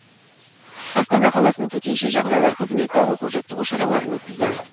астана қаласының төтенше жағдайлар қызметі оқу жаттығу шараларын өткізді